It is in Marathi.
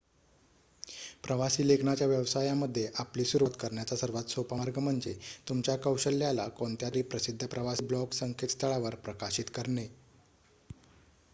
प्रवासी लेखनाच्या व्यवसायामध्ये आपली सुरवात करण्याचा सर्वात सोपा मार्ग म्हणजे तुमच्या कौशल्याला कोणत्यातरी प्रसिद्ध प्रवासी ब्लॉग संकेत स्थळावर प्रकाशित करणे